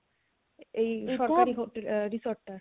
এই সরকারি resort টা